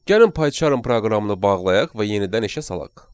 Gəlin Paycharm proqramını bağlayaq və yenidən işə salaq.